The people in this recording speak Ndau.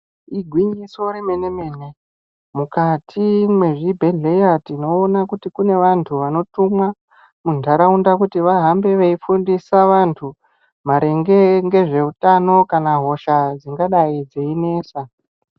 Igwinyiso remenemene mukati mwezvibhedhlera tinoona kuti kune vanthu vanotumwa muntharaunda kuti vahambe veifundisa vanthu maringe ngezveutano kana hosha dzingadai dzeinesa.